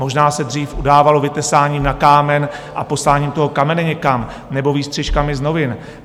Možná se dřív udávalo vytesáním na kámen a posláním toho kamene někam, nebo výstřižky z novin.